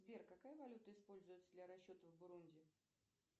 сбер какая валюта используется для расчета в бурунди